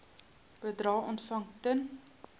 bedrae ontvang ten